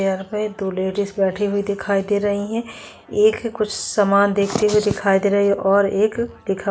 यहाँ पे दो लेडीज बैठे हुए दिखाई दे रहै है एक कुछ सामान देखते हुए दिखाई दे रही है और एक दिखाई --